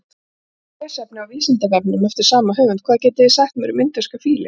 Frekara lesefni á Vísindavefnum eftir sama höfund: Hvað getið þið sagt mér um indverska fílinn?